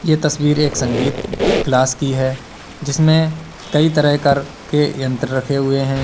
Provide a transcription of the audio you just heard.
यह तस्वीर का संगीत क्लास की है जिसमें कई तरह के यंत्र रखे हुए हैं।